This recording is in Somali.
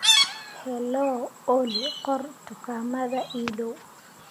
hello olly qor dukaamada ii dhow